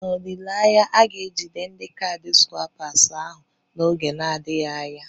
N'olileanya, a ga-ejide ndi kaadị swaịpas ahụ n'oge adịghị anya.